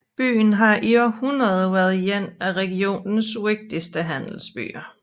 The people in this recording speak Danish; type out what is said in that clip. Byen har i århundreder været en af regionens vigtigste handelsbyer